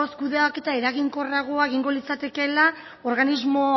kudeaketa eraginkorragoa egingo litzatekela organismo